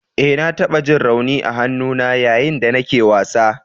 E, na taɓa ji rauni a hannuna yayin da nake wasa.